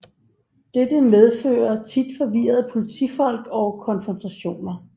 Dette medfører tit forvirrede politifolk og konfrontationer